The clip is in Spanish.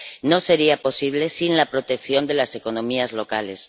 No sería posible sin la protección de las economías locales.